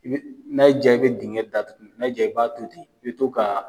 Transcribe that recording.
I be n'a y'i ja i bɛ dingɛ datugu, n'a y'i ja, i b'a to ten, i bi to ka